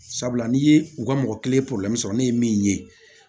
Sabula n'i ye u ka mɔgɔ kelen sɔrɔ ne ye min ye